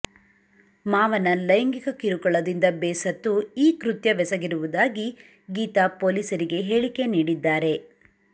ಮಾವನ ಲೈಂಗಿಕ ಕಿರುಕುಳದಿಂದ ಬೇಸತ್ತು ಈ ಕೃತ್ಯವೆಸಗಿರುವುದಾಗಿ ಗೀತಾ ಪೊಲೀಸರಿಗೆ ಹೇಳಿಕೆ ನೀಡಿದ್ದಾರೆ